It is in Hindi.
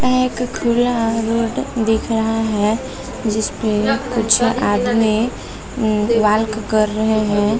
यहाँ एक खुला रोड दिख रहा है जिसपे कुछ आदमी उम्म वॉक कर रहे हैं |